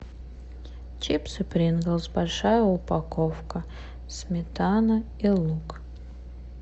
чипсы принглс большая упаковка сметана и лук